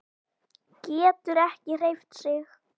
Getur ekki hreyft sig.